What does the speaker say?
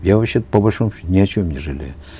я вообще то по большому счету ни о чем не жалею